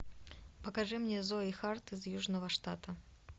покажи мне зои харт из южного штата